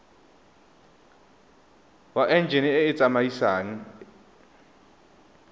wa enjine e e tsamaisang